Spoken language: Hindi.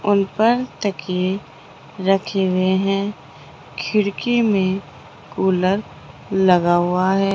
उन पर तकिये रखे हुए हैं खिड़की में कूलर लगा हुआ है।